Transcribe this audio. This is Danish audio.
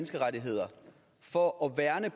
at